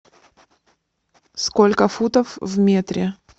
сколько футов в метре